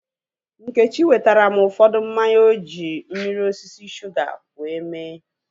Nkechi wetara m ụfọdụ mmanya oji mmiri osisi shuga wee mee